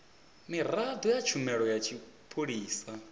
miraḓo ya tshumelo ya tshipholisa